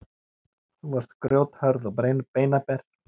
Þú varst grjóthörð og beinaber.